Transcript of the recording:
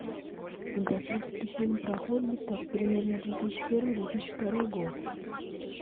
фантастический фильм про хоббитов примерно две тысячи первый две тысячи второй год